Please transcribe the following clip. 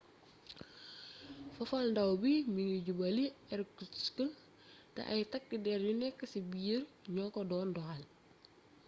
fafalndaaw bi mi ngi jubali irkutsk te ay takk der yu nekk ci biir ñoo ko doon doxal